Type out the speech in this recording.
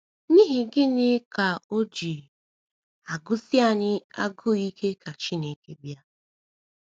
N’ihi gịnị ka o ji agụsi anyị agụụ ike ka Chineke bịa?